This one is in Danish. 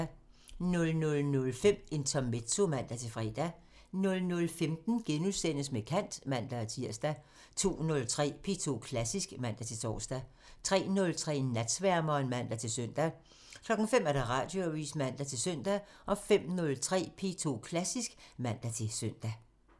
00:05: Intermezzo (man-fre) 00:15: Med kant *(man-tir) 02:03: P2 Klassisk (man-tor) 03:03: Natsværmeren (man-søn) 05:00: Radioavisen (man-søn) 05:03: P2 Klassisk (man-søn)